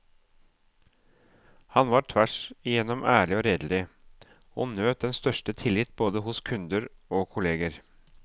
Han var tvers igjennom ærlig og redelig, og nøt den største tillit både hos kunder og kolleger.